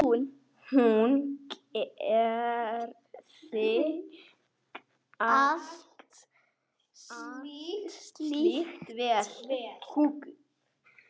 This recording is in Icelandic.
Hún gerði allt slíkt vel.